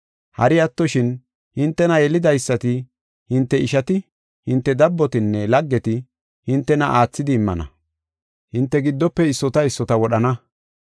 Hari attoshin, hintena yelidaysati, hinte ishati, hinte dabbotinne laggeti hintena aathidi immana. Hinte giddofe issota issota wodhana.